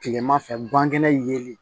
Kilema fɛ bankɛnɛ ye